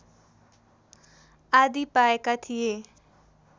आदि पाएका थिए